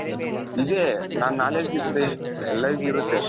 ಇದೆ ನನ್ knowledge ಇರುತ್ತೆ like,